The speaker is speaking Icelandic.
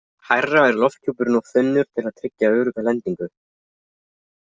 Hærra er lofthjúpurinn of þunnur til að tryggja örugga lendingu.